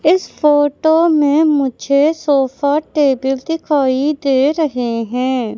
इस फोटो में मुझे सोफा टेबल दिखाई दे रहे हैं।